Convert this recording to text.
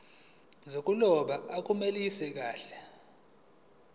zokuloba akunelisi kahle